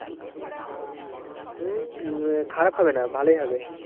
হম খারাপ হবে না, ভালোই হবে।